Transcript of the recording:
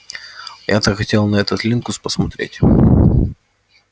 я так хотел на этот линкус посмотреть